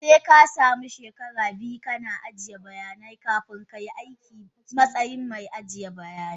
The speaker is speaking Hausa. Sekasamu she kara biyu kana ajiye bayanan banki kafin kai aiki matsayin mai aje bayanan.